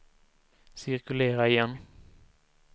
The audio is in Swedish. cirkulera igen